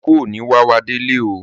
Ìkú ò ní wá wá délé oo.